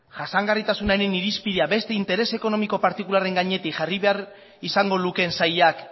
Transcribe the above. jasangarritasunaren irizpidea beste intereseko ekonomiko partikularren gainetik jarri behar izango lukeen sailak